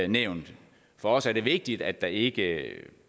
nævnt for os er det vigtigt at der ikke